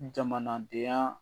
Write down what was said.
Jamanadenya